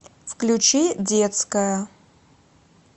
включи детская